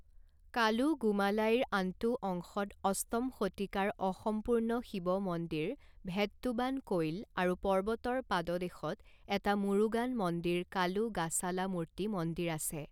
কালুগুমালাইৰ আনটো অংশত অষ্টম শতিকাৰ অসম্পূৰ্ণ শিৱ মন্দিৰ ভেট্টুবান কোইল আৰু পৰ্বতৰ পাদদেশত এটা মুৰুগান মন্দিৰ কালুগাসালামূৰ্ত্তি মন্দিৰ আছে।